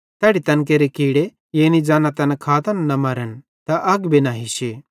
तैड़ी तैन केरे कीड़े यानी ज़ैना तैन खातन न मरन त अग भी न हिश्शे